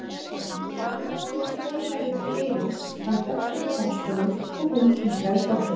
Ragnhildur veifaði til Eiríks, hann benti á dansgólfið og hún kinkaði kolli.